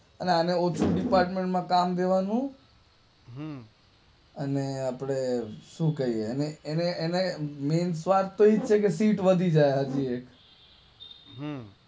અને આને ઓસિ ડિપાર્ટમેન્ટ માં કામ દેવાનું આને આપડે શું કાઈએ એને એને મૈન સ્વાર્થ તો એ જ છે કે સીટ વધી જાય